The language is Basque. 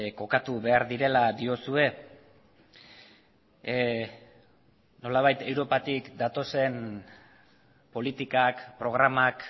kokatu behar direla diozue nolabait europatik datozen politikak programak